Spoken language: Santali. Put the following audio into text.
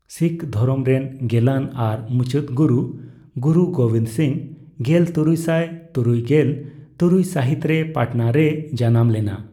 ᱥᱤᱠᱷ ᱫᱷᱚᱨᱚᱢ ᱨᱮᱱ ᱜᱮᱞᱟᱱ ᱟᱨ ᱢᱩᱪᱟᱹᱫ ᱜᱩᱨᱩ, ᱜᱩᱨᱩ ᱜᱳᱵᱤᱱᱫᱚ ᱥᱤᱝᱦᱚ, ᱜᱮᱞ ᱛᱩᱨᱩᱭᱥᱟᱭ ᱛᱩᱨᱩᱭᱜᱮᱞ ᱛᱩᱨᱩᱭ ᱥᱟᱹᱦᱤᱛ ᱨᱮ ᱯᱟᱴᱱᱟ ᱨᱮᱭ ᱡᱟᱱᱟᱢ ᱞᱮᱱᱟ ᱾